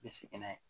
I bɛ segin n'a ye